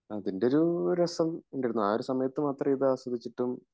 അതിൻറെ ഒരു രസം ഉണ്ടായിരുന്നു ആ ഒരു സമയത്ത് മാത്രെ ഇത് ആസ്വദിച്ചിട്ടും